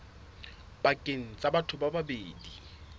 pakeng tsa batho ba babedi